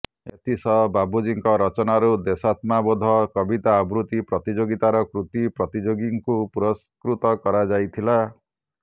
ଏଥିସହ ବାବୁଜୀଙ୍କ ରଚନାରୁ ଦେଶାତ୍ମବୋଧ କବିତା ଆବୃତ୍ତି ପ୍ରତିଯୋଗିତାର କୃତୀ ପ୍ରତିଯୋଗୀଙ୍କୁ ପୁରସ୍କୃତ କରାଯାଇଥିଲା